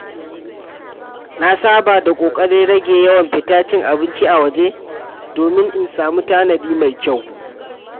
Na saba da ƙoƙarin rage yawan fita cin abinci a waje domin in sami tanadi mai kyau.